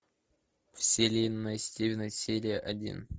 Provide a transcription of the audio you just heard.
вселенная стивена серия один